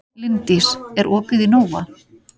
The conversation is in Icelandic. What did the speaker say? Linddís, er opið í Nova?